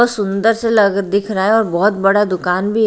कितना सुंदर सा लग दिख रहा है और बहोत बड़ा दुकान भी--